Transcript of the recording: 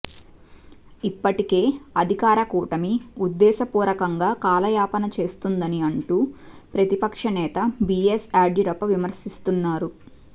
ఇప్పటికే అధికార కూటమి ఉద్దేశపూరకంగా కాలయాపన చేస్తోందని అంటూ ప్రతిపక్ష నేత బీఎస్ యడ్యూరప్ప విమర్శిస్తున్నారు